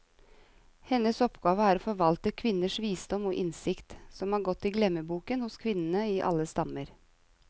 Hennes oppgave er å forvalte kvinners visdom og innsikt, som er gått i glemmeboken hos kvinnene i alle stammer.